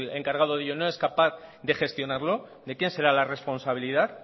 encargado de ello no es capaz de gestionarlo de quién será la responsabilidad